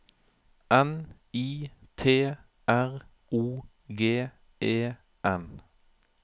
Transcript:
N I T R O G E N